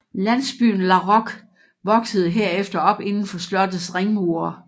Landsbyen Laroque voksede herefter op inden for slottets ringmure